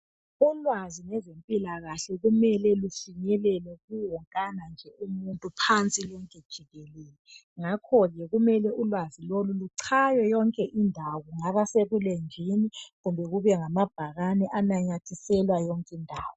Ulwazi lwezempilakahle kumele lufinyelele kuwonkana nje umuntu phansi lonke jikelele , ngakho ke ulwazi loku kumele luchaywe ebulenjini kumbe kube ngamabhakani ananyathiselwa yonke indawo.